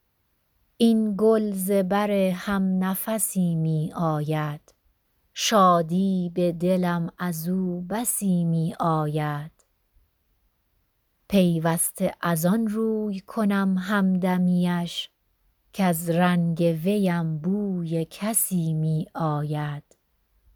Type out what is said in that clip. این گل ز بر هم نفسی می آید شادی به دلم از او بسی می آید پیوسته از آن روی کنم همدمی اش کز رنگ وی ام بوی کسی می آید